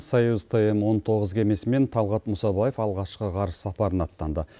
союз тм он тоғыз кемесімен талғат мұсабаев алғашқы ғарыш сапарына аттанды